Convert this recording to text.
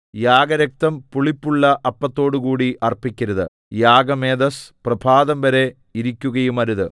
യാഗരക്തം പുളിപ്പുള്ള അപ്പത്തോടുകൂടി അർപ്പിക്കരുത് യാഗമേദസ്സ് പ്രഭാതംവരെ ഇരിക്കുകയുമരുത്